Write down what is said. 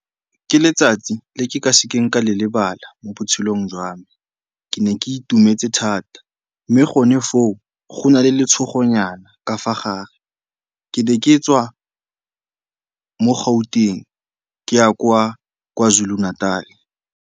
Ke letsatsi le ke ka sekeng ka le lebala mo botshelong jwa me. Ke ne ke itumetse thata mme gone foo go na le letshogonyana ka fa gare. Ke ne ke tswa mo Gauteng ke ya kwa Kwa Zulu-Natal.